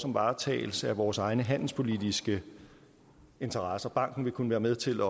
om varetagelse af vores egne handelspolitiske interesser banken vil kunne være med til